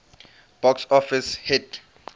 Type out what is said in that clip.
box office hit